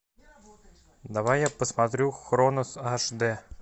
давай я посмотрю хронос аш д